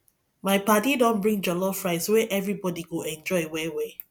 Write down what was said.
my paddy don bring jollof rice wey everybody go enjoy well well